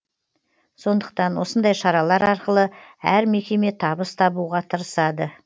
сондықтан осындай шаралар арқылы әр мекеме табыс табуға тырысады